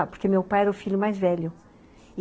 Porque meu pai era o filho mais velho.